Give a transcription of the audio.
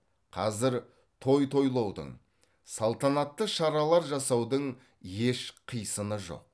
қазір той тойлаудың салтанатты шаралар жасаудың еш қисыны жоқ